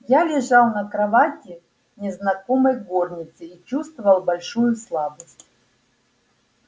я лежал на кровати в незнакомой горнице и чувствовал большую слабость